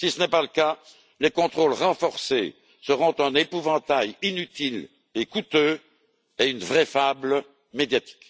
Si ce n'est pas le cas, les contrôles renforcés seront un épouvantail inutile et coûteux, et une vraie fable médiatique.